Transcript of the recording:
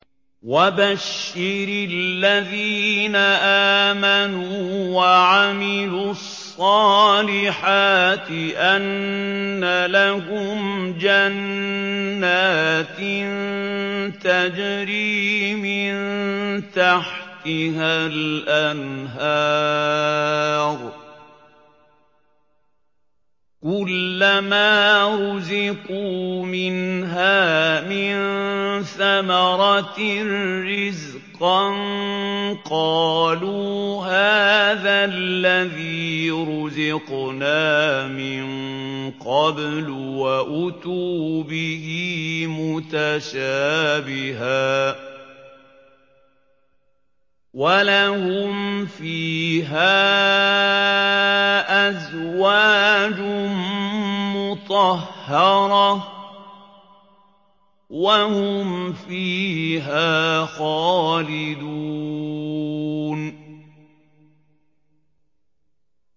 وَبَشِّرِ الَّذِينَ آمَنُوا وَعَمِلُوا الصَّالِحَاتِ أَنَّ لَهُمْ جَنَّاتٍ تَجْرِي مِن تَحْتِهَا الْأَنْهَارُ ۖ كُلَّمَا رُزِقُوا مِنْهَا مِن ثَمَرَةٍ رِّزْقًا ۙ قَالُوا هَٰذَا الَّذِي رُزِقْنَا مِن قَبْلُ ۖ وَأُتُوا بِهِ مُتَشَابِهًا ۖ وَلَهُمْ فِيهَا أَزْوَاجٌ مُّطَهَّرَةٌ ۖ وَهُمْ فِيهَا خَالِدُونَ